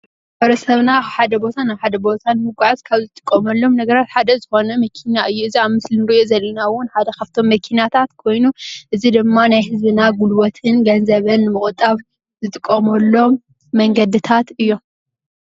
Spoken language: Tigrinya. ማሕበረሰብና ካብ ሓደ ቦታ ናብ ሓደ ቦታን ንምጉዓዝ እንጥቀመሎም ነገራት ሓደ ዝኮነ መኪና እዩ። እዚ አብ ምስሊ እንሪኦ ዘለና እውን ሓደ ካብቶም መኪናታት ኮይኑ እዙይ ድማ ናይ ህዝብና ጉልበትን ገንዘብን ምቁጣብ እንጥቀመሎም መንገድታት እዮም።